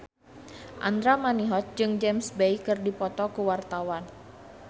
Andra Manihot jeung James Bay keur dipoto ku wartawan